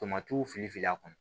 Tomati fili filila a kɔnɔ